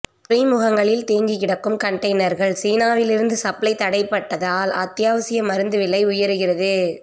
துறைமுகங்களில் தேங்கிக்கிடக்கும் கன்டெய்னர்கள் சீனாவிலிருந்து சப்ளை தடைபட்டதால் அத்தியாவசிய மருந்து விலை உயருகிறது